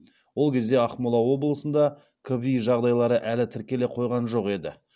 ол кезде ақмола облысында кви жағдайлары әлі тіркеле қойған жоқ еді